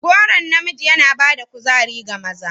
Goron namiji yana ba da kuzari ga maza.